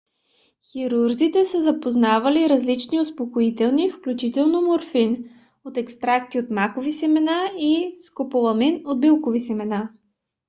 хирурзите са познавали различни успокоителни включително морфин от екстракти от макови семена и скополамин от билкови семена